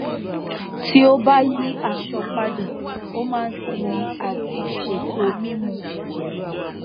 tí ó bá yí aṣọ padà ó máa n sinmi àti ṣètò mímu